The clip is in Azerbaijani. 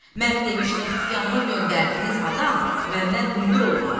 mən demişdim ki, yanıma göndərdiyiniz adam məndən hündür olmalıdır.